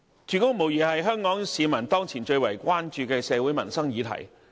住屋無疑是香港市民當前最為關注的社會民生議題。